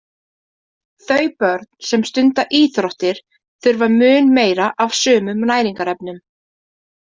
Þau börn sem stunda íþróttir þurfa mun meira af sumum næringarefnum.